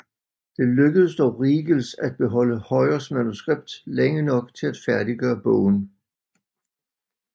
Det lykkedes dog Riegels at beholde Hojers manuskript længe nok til at færdiggøre bogen